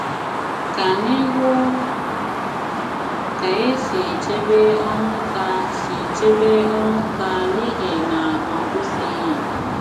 Kà ànyị hụ kà è sì chèbè Onwuka sì chèbè Onwuka n'ìhì nà ọ kwụsịghi